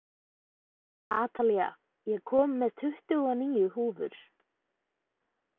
Atalía, ég kom með tuttugu og níu húfur!